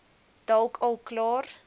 dalk al klaar